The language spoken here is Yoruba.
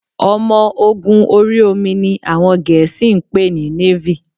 Ọmọ ogun ori omi ni àwọn Gẹ̀ẹ́sì ń pè ní Navy